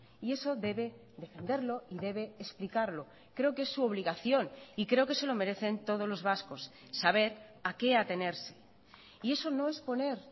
y eso debe defenderlo y debe explicarlo creo que es su obligación y creo que se lo merecen todos los vascos saber a qué atenerse y eso no es poner